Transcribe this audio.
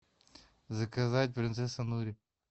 заказать принцесса нури